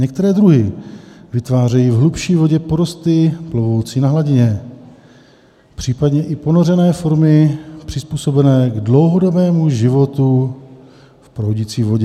Některé druhy vytvářejí v hlubší vodě porosty plovoucí na hladině, případně i ponořené formy přizpůsobené k dlouhodobému životu v proudící vodě.